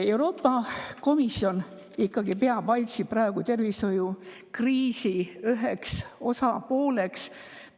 Euroopa Komisjon peab AIDS‑i praegu ikkagi tervishoiukriisi üheks.